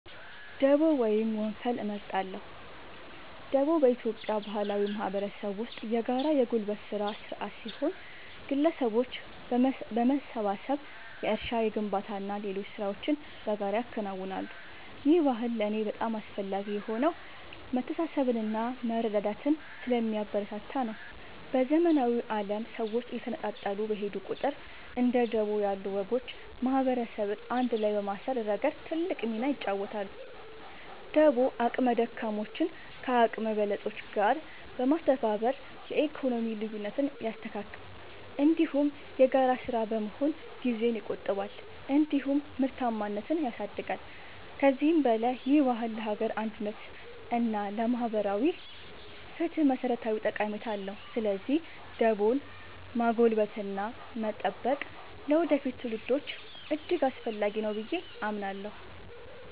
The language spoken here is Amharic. ደቦ ወይም ወንፈል እመርጣለሁ። ደቦ በኢትዮጵያ ባህላዊ ማህበረሰብ ውስጥ የጋራ የጉልበት ሥራ ሥርዓት ሲሆን፣ ግለሰቦች በመሰባሰብ የእርሻ፣ የግንባታና ሌሎች ሥራዎችን በጋራ ያከናውናሉ። ይህ ባህል ለእኔ በጣም አስፈላጊ የሆነው መተሳሰብንና መረዳዳትን ስለሚያበረታታ ነው። በዘመናዊው ዓለም ሰዎች እየተነጣጠሉ በሄዱ ቁጥር፣ እንደ ደቦ ያሉ ወጎች ማህበረሰብን አንድ ላይ በማሰር ረገድ ትልቅ ሚና ይጫወታሉ። ደቦ አቅመ ደካሞችን ከአቅመ በለጾች ጋር በማስተባበር የኢኮኖሚ ልዩነትን ያስተካክላል፤ እንዲሁም የጋራ ሥራ በመሆኑ ጊዜን ይቆጥባል እንዲሁም ምርታማነትን ያሳድጋል። ከዚህም በላይ ይህ ባህል ለሀገር አንድነት እና ለማህበራዊ ፍትህ መሠረታዊ ጠቀሜታ አለው። ስለዚህ ደቦን ማጎልበትና መጠበቅ ለወደፊት ትውልዶች እጅግ አስፈላጊ ነው ብዬ አምናለሁ።